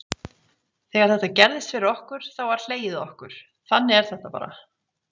Þegar þetta gerðist fyrir okkur þá var hlegið að okkur þannig er þetta bara.